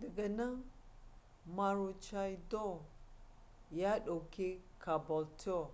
daga nan maroochydore ya doke caboolture